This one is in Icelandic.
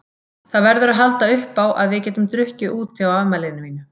Það verður að halda uppá að við getum drukkið úti á afmælinu mínu.